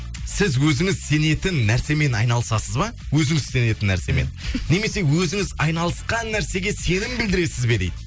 сіз өзіңіз сенетін нәрсемен айналысасыз ба өзіңіз сенетін нәрсемен немесе өзіңіз айналысқан нәрсеге сенім білдіресіз бе дейді